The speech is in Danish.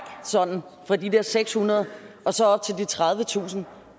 fra de der seks hundrede og så op til de tredivetusind